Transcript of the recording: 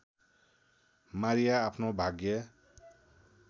Maria आफ्नो भाग्य